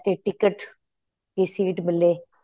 ਤੇ ticket ਤੇ seat ਮਿਲੇ